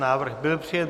Návrh byl přijat.